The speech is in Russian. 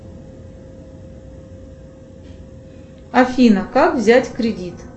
афина как взять кредит